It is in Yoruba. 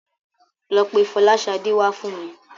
Lọ pe Fọláṣadé wá fún mi.